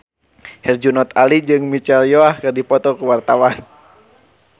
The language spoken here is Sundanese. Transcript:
Herjunot Ali jeung Michelle Yeoh keur dipoto ku wartawan